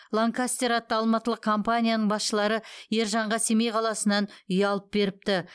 ланкастер атты алматылық компанияның басшылары ержанға семей қаласынан үй алып беріпті